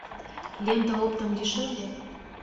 лента оптом дешевле